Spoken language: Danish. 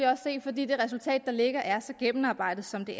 også se fordi det resultat der ligger er så gennemarbejdet som det